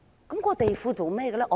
這個地庫有何用途？